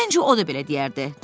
Məncə o da belə deyərdi.